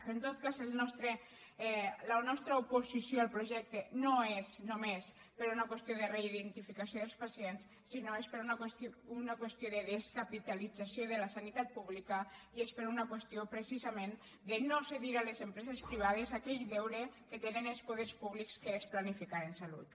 però en tot cas la nostra oposició al projecte no és només per una qüestió de reidentificació dels pacients sinó que és per una qüestió de descapitalització de la sanitat pública i és per una qüestió precisament de no cedir a les empreses privades aquell deure que tenen els poders públics que és planificar en salut